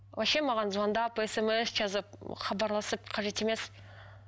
вообще маған звондап смс жазып хабарласып қажет емес